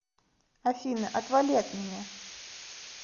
афина отвали от меня